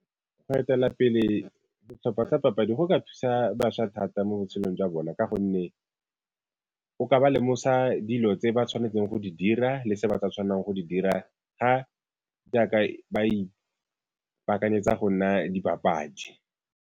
Go etela pele setlhopha sa papadi go ka thusa bašwa thata mo botshelong jwa bona ka gonne o ka ba lemosa dilo tse ba tshwanetseng go di dira le se ba sa tshwanelang go di dira jaaka ba ipaakanyetsa go nna dibapadi.